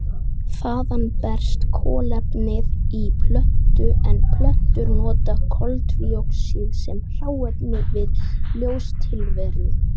Þaðan berst kolefnið í plöntu en plöntur nota koltvíoxíð sem hráefni við ljóstillífun.